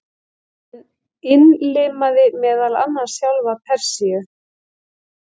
Hann innlimaði meðal annars sjálfa Persíu.